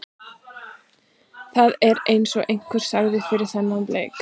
Það er eins og einhver sagði fyrir þennan leik.